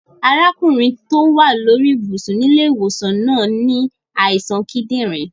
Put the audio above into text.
Arákùnrin to wa lórí ibùsùn nílẹ́ ìwòsàn náà ni àìsàn kídìnrín